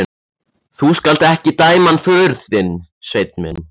Þú skalt ekki dæma hann föður þinn, Sveinn minn.